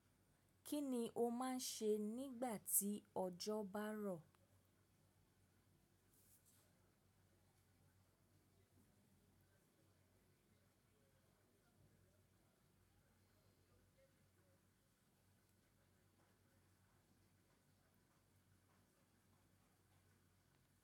Kí ni o máa ń ṣe nígbà tí ọjọ́ bá rọ̀?